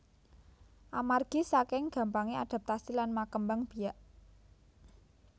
Amargi saking gampangé adaptasi lan makembang biak